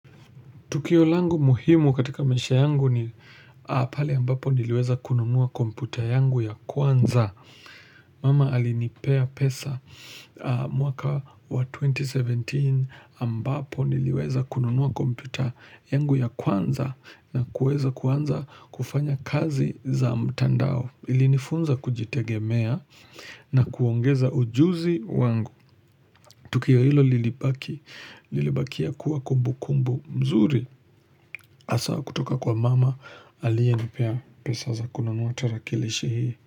Tukio langu muhimu katika maisha yangu ni pale ambapo niliweza kununua kompyuta yangu ya kwanza. Mama alinipea pesa mwaka wa 2017 ambapo niliweza kununua kompyuta yangu ya kwanza na kuweza kuanza kufanya kazi za mtandao ilinifunza kujitegemea na kuongeza ujuzi wangu. Tukio hilo lilibaki, lilibakia kuwa kumbukumbu mzuri. Hasa kutoka kwa mama, aliyenipea pesa za kununua tarakilishi hii.